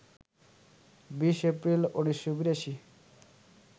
২০ April ১৯৮২